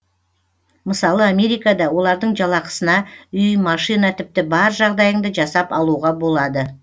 мысалы америкада олардың жалақысына үй машина тіпті бар жағдайыңды жасап алуға болады